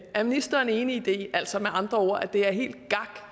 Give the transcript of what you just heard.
er ministeren enig i det altså med andre ord at det er helt tak